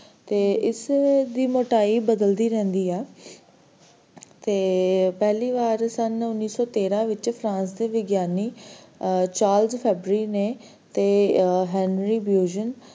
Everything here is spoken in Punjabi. ਤੇ ਇਸ ਦੀ ਮੋਟਾਈ ਬਦਲਦੀ ਰਹਿੰਦੀ ਐ, ਤੇ ਪਹਿਲੀ ਸ਼ਨ ਉੱਨੀ ਸੌ ਤੇਹਰਾਂ ਵਿਚ France ਦੇ ਵਿਗਿਆਨੀ ਅਹ Charles Fabry ਨੇ ਤੇ Henry Busion,